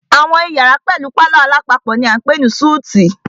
Àwọn iyàrá pẹlú palọ̀ alápapọ̀ ni a ń pè ní súítì.